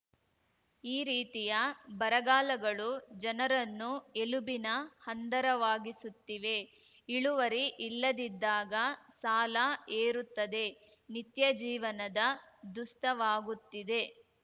ಈ ರೀತಿಯ ಬರಗಾಲಗಳು ಜನರನ್ನು ಎಲುಬಿನ ಹಂದರವಾಗಿಸುತ್ತಿವೆ ಇಳುವರಿ ಇಲ್ಲದಿದ್ದಾಗ ಸಾಲ ಏರುತ್ತದೆ ನಿತ್ಯ ಜೀವನದ ದುಸ್ತವಾಗುತ್ತಿದೆ